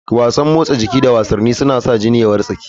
Wasan motsa jiki da wasanni suna sa jini ya wartsake.